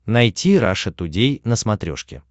найти раша тудей на смотрешке